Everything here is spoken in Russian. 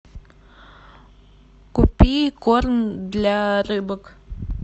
купи корм для рыбок